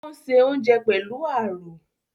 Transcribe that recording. Ò ń se oúnjẹ pẹ̀lú àrò